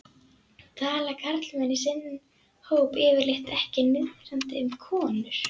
Tala karlmenn í sinn hóp yfirleitt ekki niðrandi um konur?